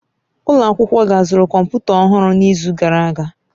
Ụlọ akwụkwọ gị azụrụ kọmputa ọhụrụ n'izu gara aga?